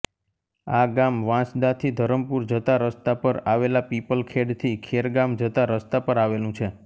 આ ગામ વાંસદાથી ધરમપુર જતા રસ્તા પર આવેલા પિપલખેડથી ખેરગામ જતા રસ્તા પર આવેલું છે